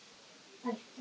Æpti á mig.